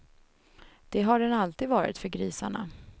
Det har den alltid varit för grisarna.